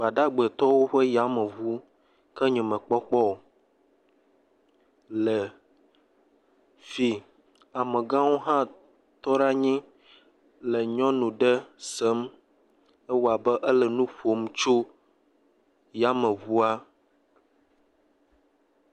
Gbdagbetɔwo ƒe yameŋu ke nyemekpɔ kpɔ o le dii, amegãwo hã tɔ ɖe anyi le nyɔnu ɖe sem, ewɔ abe ele nu ƒom tso yameŋua.